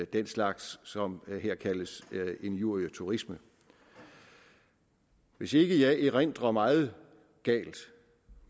den slags som her kaldes injurieturisme hvis ikke jeg erindrer meget galt